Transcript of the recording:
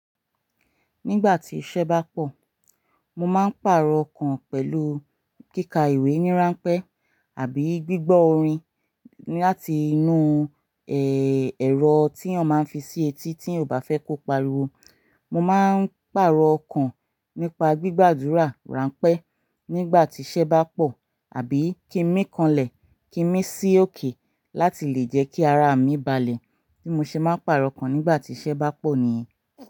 Nígbà tí iṣẹ́ bá pọ̀, mo máa ń pàrọ̀ okàn pẹ̀lú kíka ìwé ní ranpẹ́ àbí gbígbọ́ orin láti inú, ẹ̀rọ tí eeyan máa ń fi sí etí tí eeyan ò bá fẹ́ kó pariwo. Mo máa ń pàrọ̀ okàn nípa gbígbàdúrà ránpẹ́ nígbà tí iṣẹ́ bá pọ̀, àbí kí n mi kanlẹ̀, kí n mi sí òkè láti lè jẹ́ kí ara mi balẹ̀. Bí mo ṣe máa ń pàrọ̀ okàn nígbà tí iṣẹ́ bá pọ̀ nìyen.